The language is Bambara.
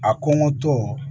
A kɔngɔtɔ